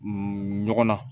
ɲɔgɔn na